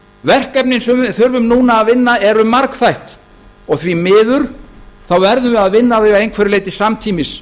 verkefnin sem við þurfum núna að vinna eru margþætt og því miður verðum við að vinna þau að einhverju leyti samtímis